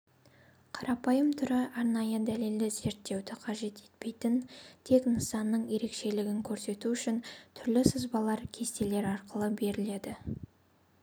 қарапайым түрі арнайы дәлелді зерттеуді қажет етпейтін тек нысанның ерекшелігін көрсету үшін түрлі сызбалар кестелер арқылы беріледі